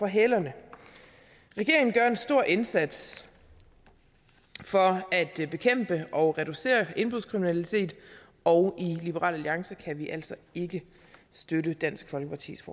hælerne regeringen gør en stor indsats for at bekæmpe og reducere indbrudskriminalitet og i liberal alliance kan vi altså ikke støtte dansk folkepartis